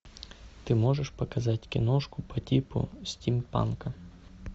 ты можешь показать киношку по типу стимпанка